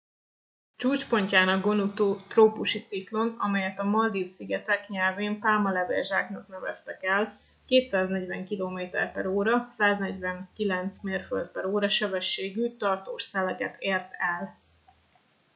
csúcspontján a gonu trópusi ciklon amelyet a maldív-szigetek nyelvén pálmalevél-zsáknak neveztek el 240 km/óra 149 mérföld/óra sebességű tartós szeleket ért el